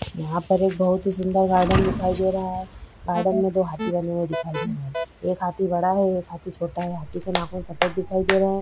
यहाँ पर एक बहुत ही सुन्दर गार्डन दिखाई दे रहा है गार्डन में दो हाथी बने दिखाई दे रहे है एक हाथी बड़ा है एक हाथी छोटा है हाथी के नाक में सफ़ेद दिखाई दे रहा है।